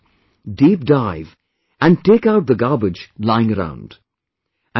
away from the coast; dive deep and take out the garbage lying around